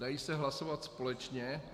Dají se hlasovat společně.